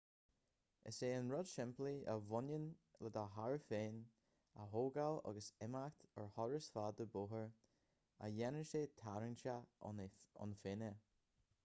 is é an rud simplí a bhaineann le do charr féin a thógáil agus imeacht ar thuras fada bóthair a dhéanann sé tarraingteach ann féin é